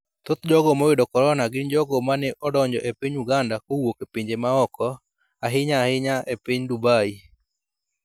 Thoth jogo moyudo korona gin jogo mane odonjo e piny Uganda kowuok e pinje ma oko, ahinya ahinya e piny Dubai.